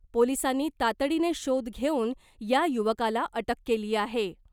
पोलिसांनी तातडीनं शोध घेऊन या युवकाला अटक केली आहे .